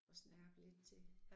At snerpe lidt til